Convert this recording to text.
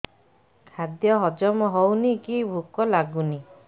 ଖାଦ୍ୟ ହଜମ ହଉନି କି ଭୋକ ଲାଗୁନି